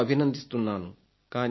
ఎంతో అభినందిస్తున్నాను